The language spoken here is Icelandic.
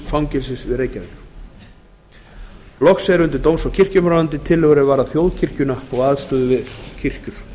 fangelsis við reykjavík loks eru tillögur er varða þjóðkirkjuna og aðstöðu við kirkjur